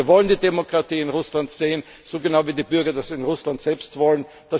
Wir wollen die Demokratie in Russland sehen, genauso wie die Bürger in Russland das selbst wollen.